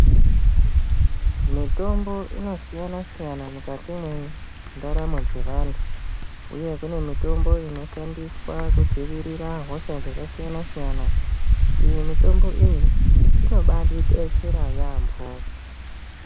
Mitombo inosiyana siyana mukati mendaramo dzevantu ngekuti kune mitombo inoshandiswa kudzivirira hosha dzakasiyana siyana iyi mitombo iyi inobatidetsera yambo.